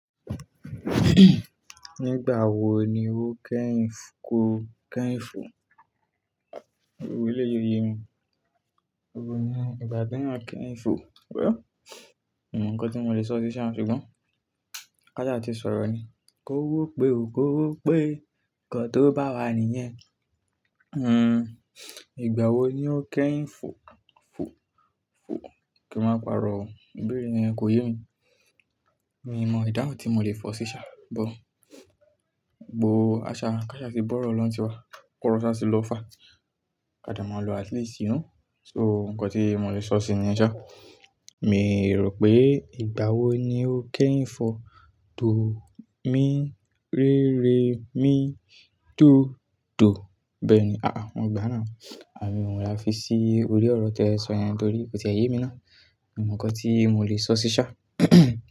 Nígbà wo ni ó kẹ́yin ko-- kẹ́yin fo? Ewó eleyi o yé mi. Ewo ni ìgbà te yan keyin fo. Wẹ́ mio mo nǹkan tí mo le sọ sí ṣá, ṣùgbọ́n káṣà ti sọ̀rọ̀ ni. Ko wó pé o, ko wó pé. Ǹnkan tó bá wà nìyẹn. Hmm. Ìgbà wo ni ó kẹ́yin fo? Fo? Fo? Kí n ma paro o. Ìbéèrè yẹn kò yé mi. Mi mọ ìdáhùn tí mo lè fọ̀ sí ṣá, bụ́. Àṣà ká ṣà ti bọ̀rọ̀ lọ́ ń tì wa. Koro sa ti lọ fá. Ká dà máa lo at least you know So nǹkan tí mo le sọ sí ni yen sa Mi rò pé ìgbà wo ni ó kẹ́yin fo? Do mi re re mi do do. Bẹ́ẹ̀ ni. Àà, mo gbá náà. Àmí, òhun la fi sí orí ọ̀rọ̀ te sọ yẹn torí kò ti e yé mi ná. Mi mo nǹkan tí mo lè sọ sí ṣá.